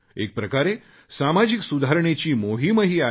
एकप्रकारे सामाजिक सुधारणेची मोहिमही आहे